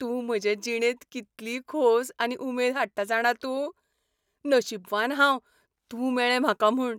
तूं म्हजे जिणेंत कितली खोस आनी उमेद हाडटा जाणा तूं? नशीबवान हांव तूं मेळ्ळें म्हाका म्हूण.